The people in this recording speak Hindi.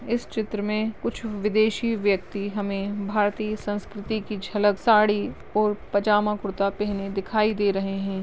इस चित्र मे कुछ विदेशी व्यक्ती हमे भारतीय संस्कृती कि झलक साडी और पजामा कुर्ता पेहने दिखाई दे रहे है।